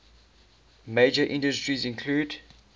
major industries include